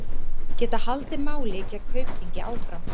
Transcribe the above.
Geta haldið máli gegn Kaupþingi áfram